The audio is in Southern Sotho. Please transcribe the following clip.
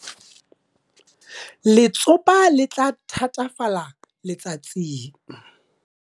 Letsopa le tla thatafala letsatsing.